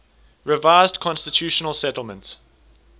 revised constitutional settlement